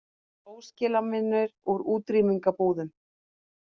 Óskilamunir úr útrýmingarbúðum